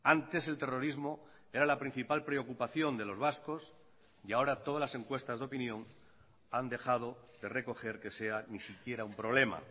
antes el terrorismo era la principal preocupación de los vascos y ahora todas las encuestas de opinión han dejado de recoger que sea ni siquiera un problema